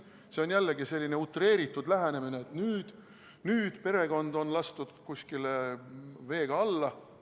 See on jällegi selline utreeritud lähenemine, et nüüd perekond on lastud kuskil veega alla.